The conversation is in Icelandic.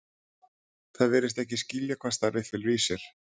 Það virðist ekki skilja hvað starfið felur í sér.